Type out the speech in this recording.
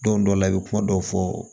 Don dɔ la i bɛ kuma dɔw fɔ